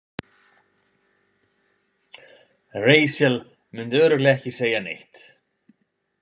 Rahel myndi örugglega ekki segja neitt.